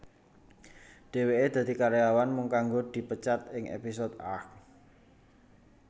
Dheweke dadi karyawan mung kanggo dipecat ing episode Arrgh